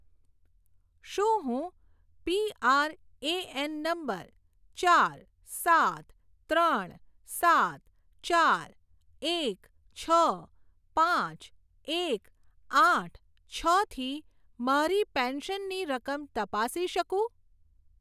શું હું PRAN number ચાર સાત ત્રણ સાત ચાર એક છ પાંચ એક આઠ છ થી મારી પેન્શનની રકમ તપાસી શકું?